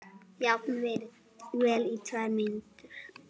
Jafnvel í tvær vikur.